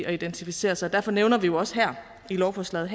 og identificere sig derfor nævner vi jo også her i lovforslaget